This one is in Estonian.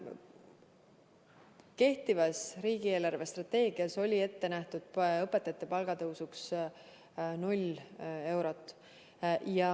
Kehtivas riigi eelarvestrateegias oli õpetajate palga tõusuks ette nähtud null eurot.